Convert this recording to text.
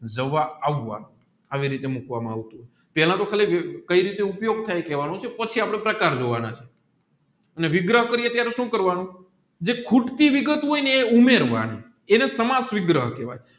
જવા આવવા એવી રીતે મૂકવામાં આવતું તું પેલા તોહ કઈ રીતે ઉપયોગ થાય પછી આપણે પ્રકાર જોવાના છે અને વિગરઃ અપડે સુ કરવાનું જે વિગત હોયને એ ઉમેરવાની એને સાંમજ વિગ્રહ કહેવાય